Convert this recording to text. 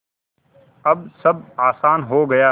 अब सब आसान हो गया